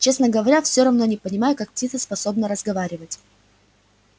честно говоря всё равно не понимаю как птица способна разговаривать